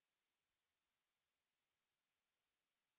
या अन्यथा negative प्रदर्शित होगा